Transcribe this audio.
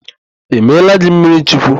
E meela gị mmirichukwu?